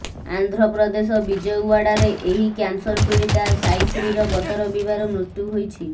ଆନ୍ଧ୍ରପ୍ରଦେଶ ବିଜୟଓ୍ୱାଡ଼ାର ଏହି କ୍ୟାନସର୍ ପୀଡ଼ିତା ସାଇଶ୍ରୀର ଗତ ରବିବାର ମୃତ୍ୟୁ ହୋଇଛି